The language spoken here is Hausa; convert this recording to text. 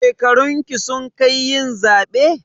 Shekarunki sun kai yin zaɓe?